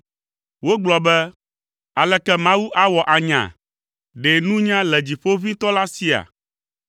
Wogblɔ be, “Aleke Mawu awɔ anya? Ɖe nunya le Dziƒoʋĩtɔ la sia?”